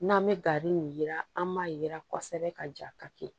N'an bɛ gari nin jira an b'a yira kɔsɛbɛ ka ja ka kɛ